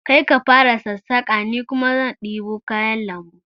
Kai ka fara sassaƙa ni kuma zan ɗebo kayan lambu